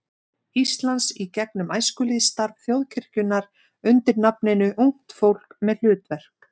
Íslands í gegnum æskulýðsstarf þjóðkirkjunnar undir nafninu Ungt fólk með hlutverk.